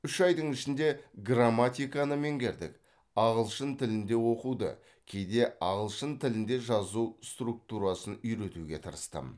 үш айдың ішінде грамматиканы меңгердік ағылшын тілінде оқуды кейде ағылшын тілінде жазу структурасын үйретуге тырыстым